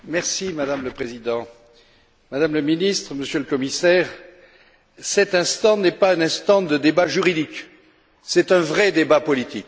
Madame la Présidente, Madame la Ministre, Monsieur le Commissaire, cet instant n'est pas un instant de débat juridique c'est un vrai débat politique.